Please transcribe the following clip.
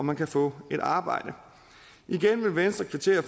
man kan få et arbejde igen vil venstre kvittere